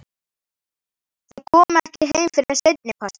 Þau koma ekki heim fyrr en seinnipartinn.